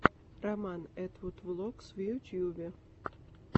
роман этвуд влогс в ютюбе